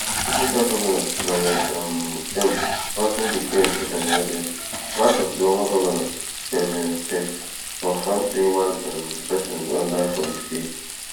georgia govnor brian um kemp also declare a state of emergency while oklahoma govnor kevin stet confirm say one um person don die for di state,